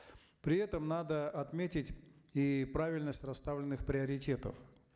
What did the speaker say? при этом надо отметить и правильность расставленных приоритетов